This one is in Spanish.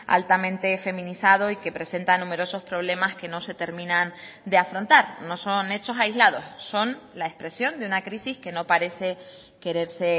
altamente feminizado y que presentan numerosos problemas que no se terminan de afrontar no son hechos aislados son la expresión de una crisis que no parece quererse